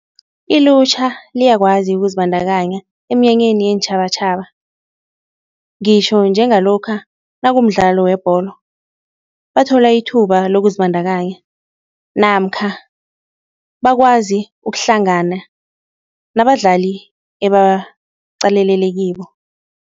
Ilutjha liyakwazi ukuzibandakanya eminyanyeni yeentjhabatjhaba. Ngitjho njengalokha nakumdlalo webholo, bathola ithuba lokuzibandakanya namkha bakwazi ukuhlangana nabadlali ebaqalelele kibo.